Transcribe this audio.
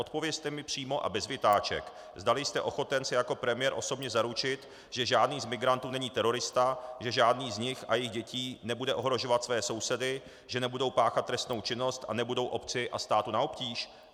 Odpovězte mi přímo a bez vytáček, zdali jste ochoten se jako premiér osobně zaručit, že žádný z migrantů není terorista, že žádný z nich a jejich dětí nebude ohrožovat své sousedy, že nebudou páchat trestnou činnost a nebudou obci a státu na obtíž.